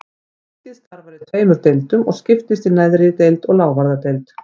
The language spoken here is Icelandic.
Þingið starfar í tveimur deildum og skiptist í neðri deild og lávarðadeild.